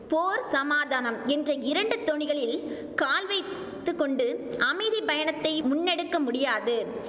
போர் சமாதானம் என்ற இரண்டு தோணிகளில் கால் வைத்து கொண்டு அமைதி பயணத்தை முன்னெடுக்க முடியாது